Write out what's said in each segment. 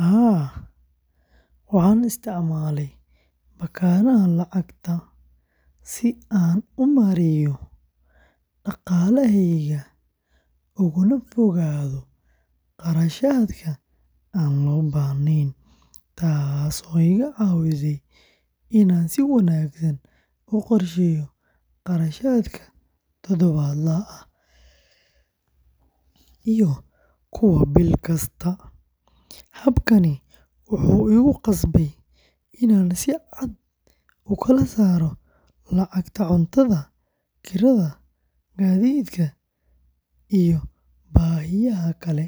Haa, waxaan isticmaalay baakadaha lacagta si aan u maareeyo dhaqaalahayga ugana fogaado kharashaadka aan loo baahnayn, taasoo iga caawisay inaan si wanaagsan u qorsheeyo kharashaadka todobaadlaha ah iyo kuwa bil kasta. Habkaani wuxuu igu qasbay inaan si cad u kala saaro lacagta cuntada, kirada, gaadiidka, iyo baahiyaha kale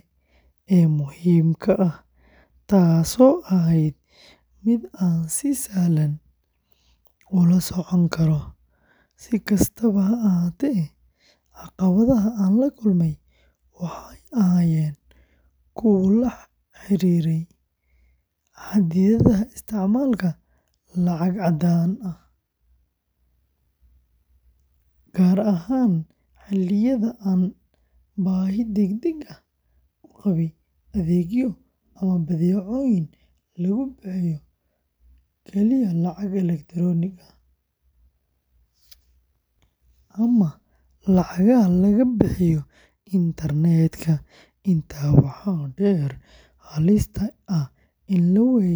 ee muhiimka ah, taasoo ahayd mid aan si sahlan ula socon karo. Si kastaba ha ahaatee, caqabadaha aan la kulmay waxay ahaayeen kuwo la xiriiray xaddidaadda isticmaalka lacag caddaan ah, gaar ahaan xilliyada aan baahi degdeg ah u qabay adeegyo ama badeecooyin lagu bixiyo kaliya lacag elektaroonik ah, ama lacagaha laga bixiyo internetka. Intaa waxaa dheer, halista ah in la waayo baakad.